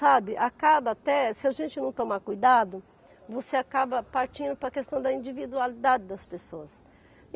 Sabe, acaba até, se a gente não tomar cuidado, você acaba partindo para a questão da individualidade das pessoas.